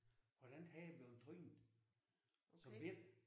Hvordan han er blevet trynet som bette